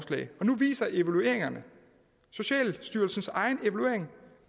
nu viser evalueringen socialstyrelsens egen evaluering